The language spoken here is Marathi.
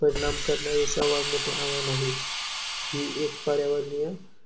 परिणाम करणारे सर्वांत मोठे आवाहन आहे. ही एक पर्यावरणीय